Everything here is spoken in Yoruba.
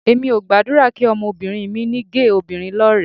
Èmi ò gbàdúrà kí ọmọbìnrin mi ní géè obìnrin lọ́rẹ̀ẹ́